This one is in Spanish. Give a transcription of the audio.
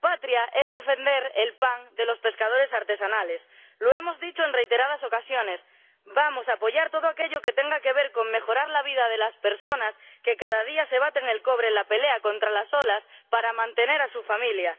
Patria es defender el pan de los pescadores artesanales. Lo hemos dicho en reiteradas ocasiones vamos a apoyar todo aquello que tenga que ver con la mejora de la vida de las personas que cada día se baten el cobre en la pelea contra las olas para mantener a su familia.